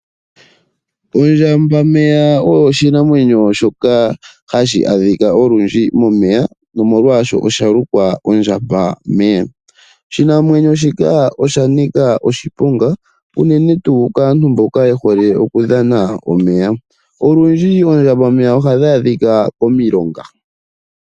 Ondjamba meya oyo oshinanwenyo shoka hashi adhika unene momeya sho osho shalukwa ondjamba meya. Oshinanwenyo shika osha nika oshiponga unene tuu kaantu mboka yehole okudhana omeya. Olundji iinamwenyo mbino ohaya adhika komilonga.